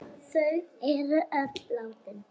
Þau er öll látin.